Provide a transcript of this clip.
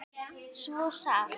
Svo sárt.